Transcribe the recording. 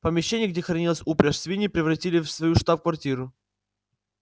помещение где хранилась упряжь свиньи превратили в свою штаб-квартиру